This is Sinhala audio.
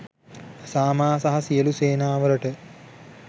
සාමා සහ සියලු සේනා වලට